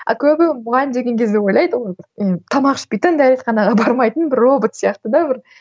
а көбі мұғалім деген кезде ойлайды тамақ ішпейтін дәретханаға бармайтын бір робот сияқты да бір